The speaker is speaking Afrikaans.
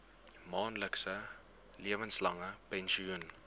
maandelikse lewenslange pensioen